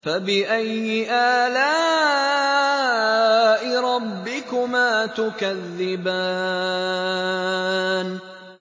فَبِأَيِّ آلَاءِ رَبِّكُمَا تُكَذِّبَانِ